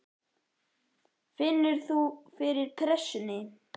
Finnur þú fyrir pressunni?